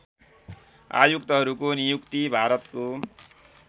आयुक्तहरूको नियुक्ति भारतको